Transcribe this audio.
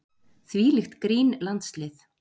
Þvílíkt grín landslið.